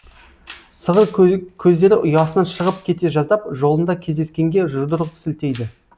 сығыр көздері ұясынан шығып кете жаздап жолында кездескенге жұдырық сілтейді